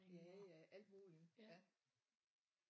Ja ja alt muligt ja